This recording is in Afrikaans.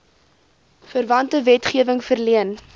verwante wetgewing verleen